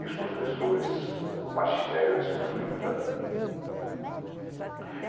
E os professores, o magistério é sofrido também.